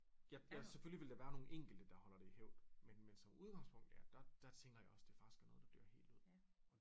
Jeg jeg selvfølgelig ville der være nogle enkelte der holder det i hævd men men som udgangspunkt ja der tænker jeg også det faktisk er noget der dør helt ud